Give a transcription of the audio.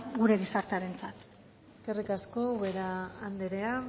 gure gizartearentzat eskerrik asko ubera anderea